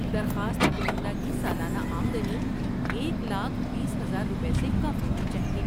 درخواست کنندہ کی سالانہ آمدنی ایک لاکھ بیس ہزار روپے سے کم ہونی چاہیے